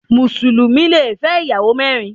Mùsùlùmí le fẹ́ ìyàwó mẹ́rin.